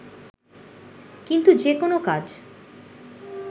কিন্তু যে কোনো কাজ